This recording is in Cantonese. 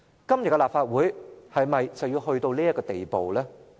今天的立法會是否去到這地步？